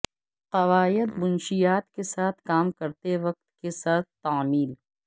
قواعد منشیات کے ساتھ کام کرتے وقت کے ساتھ تعمیل